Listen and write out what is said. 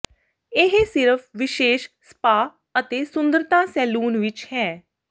ਇਹ ਸਿਰਫ ਵਿਸ਼ੇਸ਼ ਸਪਾ ਅਤੇ ਸੁੰਦਰਤਾ ਸੈਲੂਨ ਵਿੱਚ ਹੈ